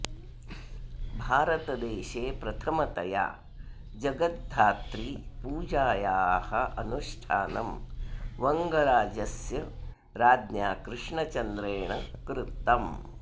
भारतदेशे प्रथमतया जगद्धात्री पूजायाः अनुष्ठानं वङ्गराज्यस्य राज्ञा कृष्णचन्द्रेण कृतम्